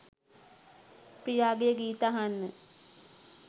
ප්‍රියාගේ ගීත අහන්න.